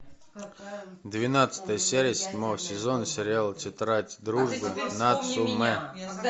двенадцатая серия седьмого сезона сериала тетрадь дружбы нацумэ